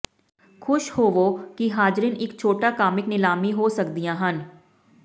ਖੁਸ਼ ਹੋਵੋ ਕਿ ਹਾਜ਼ਰੀਨ ਇਕ ਛੋਟਾ ਕਾਮਿਕ ਨਿਲਾਮੀ ਹੋ ਸਕਦੀਆਂ ਹਨ